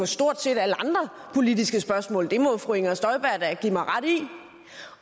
stort set alle andre politiske spørgsmål det må fru inger støjberg da give mig ret i